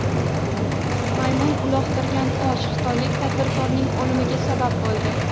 Maymun uloqtirgan tosh xitoylik tadbirkorning o‘limiga sabab bo‘ldi.